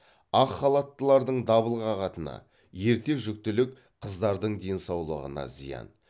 ақ халаттылардың дабыл қағатыны ерте жүктілік қыздардың денсаулығына зиян